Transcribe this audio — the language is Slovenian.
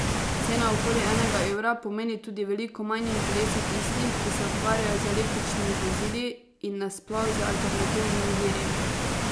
Cena okoli enega evra pomeni tudi veliko manj interesa tistih, ki se ukvarjajo z električnimi vozili in na sploh z alternativnimi viri.